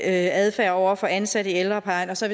adfærd over for ansatte i ældreplejen og så